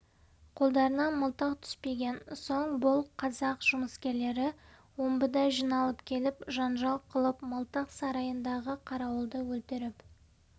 қолдарына мылтық түспеген соң бұл қазақ жұмыскерлері омбыда жиналып келіп жанжал қылып мылтық сарайындағы қарауылды өлтіріп